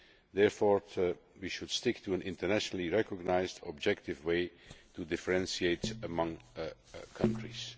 Therefore, we should stick to an internationally recognised, objective way to differentiate among countries.